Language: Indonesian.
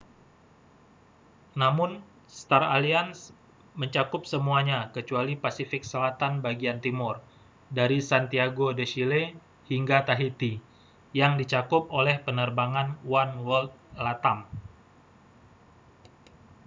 namun star alliance mencakup semuanya kecuali pasifik selatan bagian timur dari santiago de chile hingga tahiti yang dicakup oleh penerbangan oneworld latam